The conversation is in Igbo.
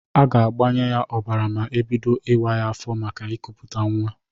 A ga-agbanye ya ọbara ma ebido ọwụwa afọ maka ịkụpụta nnwa.